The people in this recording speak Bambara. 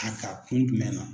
kun jumɛn na?